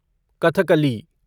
Kathakali